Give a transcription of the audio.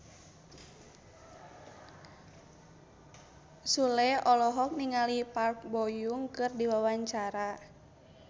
Sule olohok ningali Park Bo Yung keur diwawancara